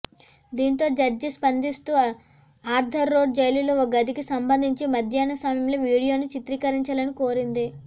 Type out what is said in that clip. దీంతో జడ్జి స్పందిస్తూ Arthur road జైలులో ఓ గదికి సంబంధించి మధ్యాహ్నం సమయంలో వీడియోను చిత్రీకరించాలని కోరింది